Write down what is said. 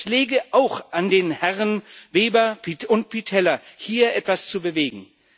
Es läge auch an den Herren Weber und Pittella, hier etwas zu bewegen.